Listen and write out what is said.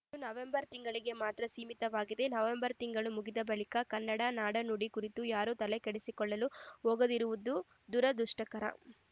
ಇದು ನವೆಂಬರ್‌ ತಿಂಗಳಿಗೆ ಮಾತ್ರ ಸೀಮಿತವಾಗಿದೆ ನವೆಂಬರ್‌ ತಿಂಗಳು ಮುಗಿದ ಬಳಿಕ ಕನ್ನಡ ನಾಡುನುಡಿಯ ಕುರಿತು ಯಾರೂ ತಲೆಕೆಡಿಸಿಕೊಳ್ಳಲು ಹೋಗದಿರುವುದು ದುರದುಷ್ಟಕರ